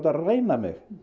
ræna mig